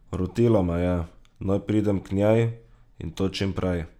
Rotila me je, naj pridem k njej, in to čim prej.